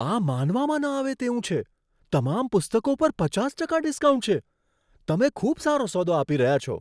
આ માનવામાં ન આવે તેવું છે! તમામ પુસ્તકો પર પચાસ ટકા ડિસ્કાઉન્ટ છે. તમે ખૂબ સારો સોદો આપી રહ્યા છો.